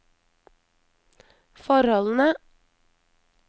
forholdene